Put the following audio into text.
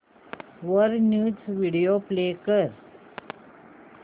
वर news video play कर